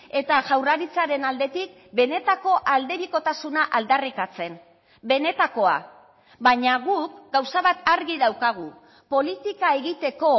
eta jaurlaritzaren aldetik benetako aldebikotasuna aldarrikatzen benetakoa baina guk gauza bat argi daukagu politika egiteko